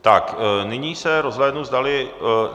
Tak nyní se rozhlédnu, zdali...